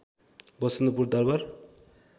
Vasantpur Darbar